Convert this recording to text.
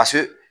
Ka se